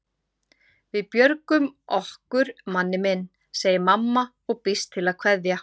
Við björgum okkur Manni minn, segir mamma og býst til að kveðja.